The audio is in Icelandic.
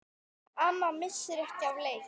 Amma missir ekki af leik.